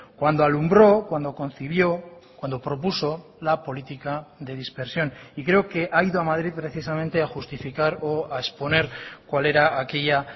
cuando alumbró cuando concibió cuando propuso la política de dispersión y creo que ha ido a madrid precisamente a justificar o a exponer cuál era aquella